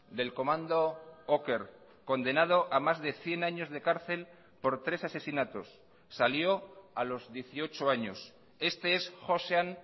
del comando oker condenado a más de cien años de cárcel por tres asesinatos salió a los dieciocho años este es joxean